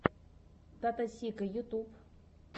таттосика ютуб